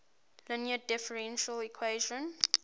linear differential equation